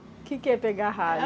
O que que é pegar ralho?